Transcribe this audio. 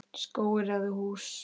Skógur eða hús?